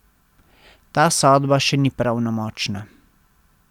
Ta sodba še ni pravnomočna.